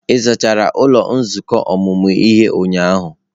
Ị zachara ụlọ nzukọ ọmụmụ ihe ụnyahụ?